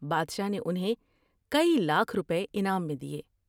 بادشاہ نے انھیں کئی لاکھ روپے انعام میں دیے ۔